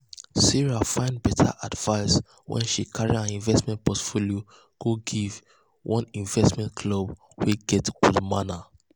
sarah find better advice when she carry her investment portfolio go give one investment club wey get good name.